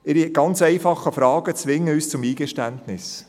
Ihre ganz einfachen Fragen zwingen uns zum Eingeständnis.